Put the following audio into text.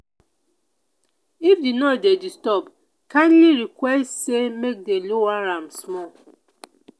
if di noise dey disturb calmly request say make dem lower am small.